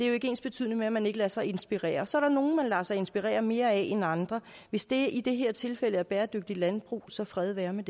jo ikke ensbetydende med at man ikke lader sig inspirere så er der nogle man lader sig inspirere mere af end andre og hvis det i det her tilfælde er bæredygtigt landbrug så fred være med